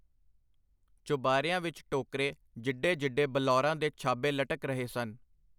ਚੁਬਾਰਿਆਂ ਵਿੱਚ ਟੋਕਰੇ ਜਿੱਡੇ ਜਿੱਡੇ ਬਲੌਰਾਂ ਦੇ ਛਾਬੇ ਲਟਕ ਰਹੇ ਸਨ.